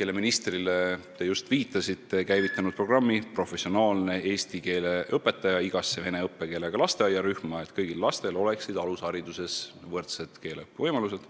mille ministrile te just viitasite, on käivitanud programmi "Professionaalne eesti keele õpetaja igasse vene õppekeelega lasteaiarühma", et kõigil lastel oleksid alushariduses võrdsed keelevõimalused.